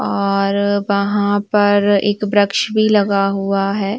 वहाँ पर एक ब्रक्ष भी लगा हुआ है।